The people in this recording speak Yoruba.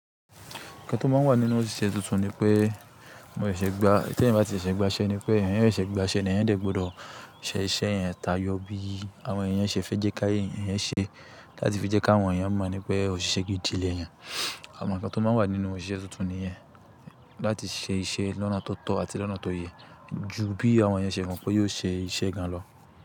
Ǹkan tó máa ńinu òṣìṣẹ́ tuntun ni pé mo ṣẹ̀ṣẹ̀ gba, tí ẹ̀yin bá ti ṣẹ̀ṣẹ̀ gba iṣẹ́ ni pé ẹ̀yan yóò ṣẹ̀ṣẹ̀ gba iṣẹ́, ní ẹ̀yin dọ́gbọ́dọ̀ ṣẹ iṣẹ́ yẹn tayọ bí àwọn èèyàn ṣe fẹ́ jẹ́ kí ẹ̀yin ṣe láti fi jẹ́ kí àwọn èèyàn mọ̀ ni pé òṣìṣẹ́ gidi lẹ̀yan. Àwon ǹkan tó máa ń wà nínú òṣìṣẹ́ tuntun nìyẹn. Láti ṣe iṣẹ́ lọ́nà tó tọ́ àti lọ́nà tó yẹ ju bí àwọn èèyàn ṣe mọ̀ pé yóò ṣe iṣẹ́ gan lọ.